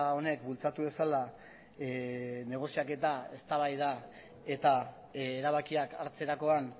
honek bultzatu dezala negoziaketa eztabaida eta erabakiak hartzerakoan